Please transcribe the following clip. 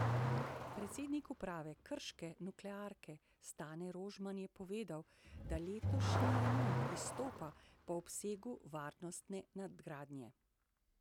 Predsednik uprave krške nuklearke Stane Rožman je povedal, da letošnji remont izstopa po obsegu varnostne nadgradnje.